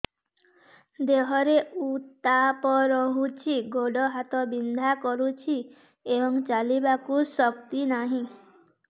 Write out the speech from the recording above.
ଦେହରେ ଉତାପ ରହୁଛି ଗୋଡ଼ ହାତ ବିନ୍ଧା କରୁଛି ଏବଂ ଚାଲିବାକୁ ଶକ୍ତି ନାହିଁ